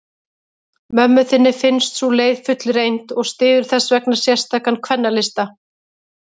Mömmu þinni finnst sú leið fullreynd, og styður þessvegna sérstakan kvennalista.